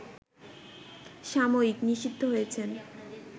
সাময়িক নিষিদ্ধ হয়েছেন